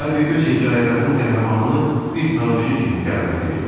Harvi öz hekayələrinin qəhrəmanını bir tanışı kimi qələmə verirdi.